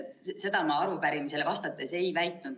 Seda ma arupärimisele vastates ei väitnud.